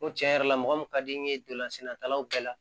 N ko tiɲɛ yɛrɛ la mɔgɔ min ka di n ye n donlan sennatalaw bɛɛ la